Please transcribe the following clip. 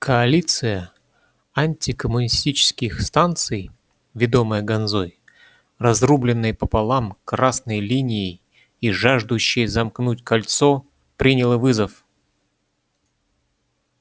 коалиция антикоммунистических станций ведомая ганзой разрубленной пополам красной линией и жаждущей замкнуть кольцо приняла вызов